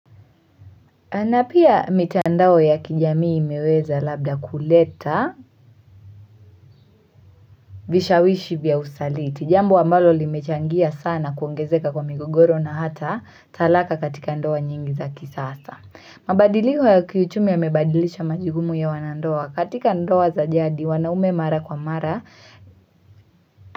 Na pia mitandao ya kijamii imeweza labda kuleta vishawishi vya usaliti, jambo wa ambalo limechangia sana kuongezeka kwa migogoro na hata talaka katika ndoa nyingi za kisasa. Mabadiliko ya kiuchumi yamebadilisha majukumu ya wanandoa, katika ndoa za jadi wanaume mara kwa mara,